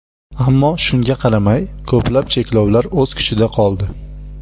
Ammo shunga qaramay, ko‘plab cheklovlar o‘z kuchida qoldi.